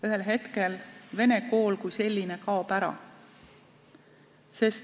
Ühel hetkel vene kool kui selline kaob ära.